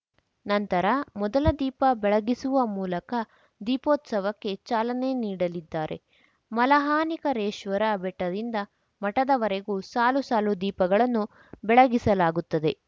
ನಂತರ ಮೊದಲ ದೀಪ ಬೆಳಗಿಸುವ ಮೂಲಕ ದೀಪೋತ್ಸವಕ್ಕೆ ಚಾಲನೆ ನೀಡಲಿದ್ದಾರೆ ಮಲಹಾನಿಕರೇಶ್ವರ ಬೆಟ್ಟದಿಂದ ಮಠದವರೆಗೂ ಸಾಲು ಸಾಲು ದೀಪಗಳನ್ನುಬೆಳಗಿಸಲಾಗುತ್ತದೆ